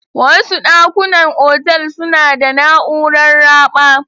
Wasu dakunan otal suna da na'urar raɓa.